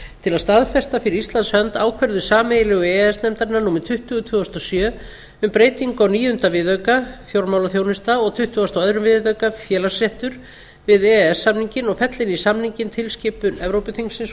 til að staðfesta fyrir íslands hönd ákvörðun sameiginlegu e e s nefndarinnar númer tuttugu tvö þúsund og sjö um breytingu á níunda viðauka og tuttugasta og öðrum viðauka við e e s samninginn og fella inn í samninginn tilskipun evrópuþingsins og